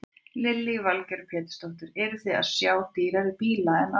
Lillý Valgerður Pétursdóttir: Eruð þið að sjá dýrari bíla en áður?